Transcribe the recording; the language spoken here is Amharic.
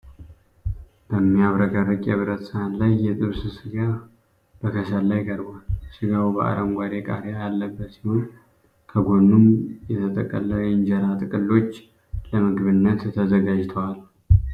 በሚያብረቀርቅ የብረት ሰሃን ላይ የጥብስ ስጋ በከሰል ላይ ቀርቧል። ስጋው በአረንጓዴ ቃሪያ ያለበት ሲሆን፤ ከጎኑም የተጠቀለ የእንጀራ ጥቅሎች ለምግብነት ተዘጋጅተዋል።